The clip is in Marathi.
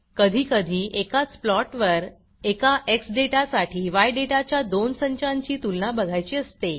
कधीकधी एकाच प्लॉट वर एका एक्स डेटासाठी य डेटाच्या दोन संचांची तुलना बघायची असते